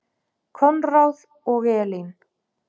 Konráð og Elín.